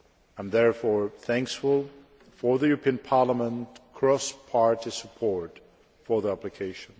I am therefore thankful for this Parliament's cross party support for the application.